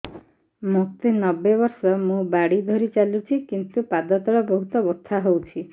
ମୋତେ ନବେ ବର୍ଷ ମୁ ବାଡ଼ି ଧରି ଚାଲୁଚି କିନ୍ତୁ ପାଦ ତଳ ବହୁତ ବଥା ହଉଛି